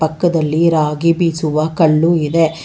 ಪಕ್ಕದಲ್ಲಿ ರಾಗಿ ಬೀಸುವ ಕಲ್ಲು ಇದೆ.